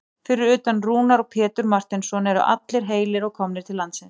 Fyrir utan Rúnar og Pétur Marteinsson eru allir heilir og komnir til landsins?